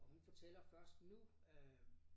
Og hun fortæller først nu øh